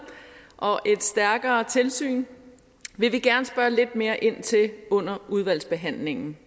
og et stærkere tilsyn vil vi gerne spørge lidt mere ind til under udvalgsbehandlingen